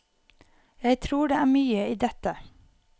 Jeg tror det er mye i dette.